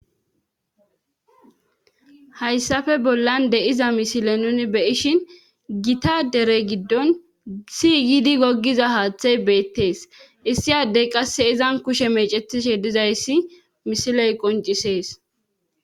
hayssafe bollan de7iza misile nuni beyishin gita dere giddon siyidi goggiza haaththey beettees issiyaddey qasse izan kushe mecetishe dizayssi misiley qoncisees.